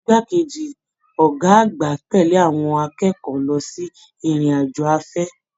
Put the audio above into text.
Igbá keji ọgá àgbà tẹle àwọn akẹ́kọ̀ọ́ lọ sí ìrìn àjò afẹ.